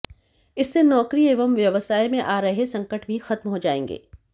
इससे नौकरी एवं व्यवसाय में आ रहे संकट भी खत्म हो जाएंगे